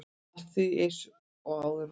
Allt er því eins og áður var.